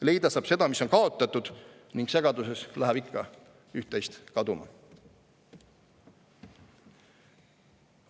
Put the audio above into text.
Leida saab seda, mis on kaotatud, ning segaduses läheb ikka üht-teist kaduma.